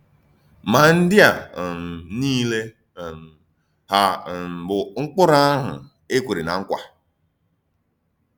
Ma ndí à um niile um hà um bụ̀ Mkpụrụ àhụ̀ e kwèrè ná nkwa?